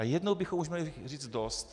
A jednou bychom už měli říct dost.